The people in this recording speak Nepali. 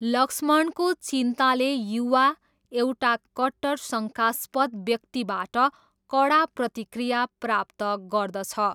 लक्ष्मणको चिन्ताले युवा, एउटा कट्टर शङ्कास्पद व्यक्तिबाट कडा प्रतिक्रिया प्राप्त गर्दछ।